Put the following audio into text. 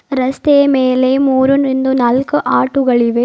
ರಸ್ತೆಯ ಮೇಲೆ ಮೂರು ನಿಂದು ನಾಲ್ಕು ಆಟೋಗಳಿವೆ.